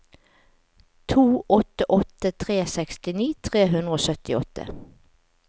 to åtte åtte tre sekstini tre hundre og syttiåtte